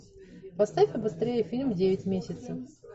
поставь побыстрее фильм девять месяцев